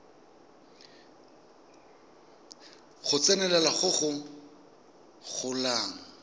go tsenelela go go golang